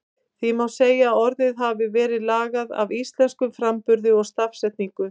Því má segja að orðið hafi verið lagað að íslenskum framburði og stafsetningu.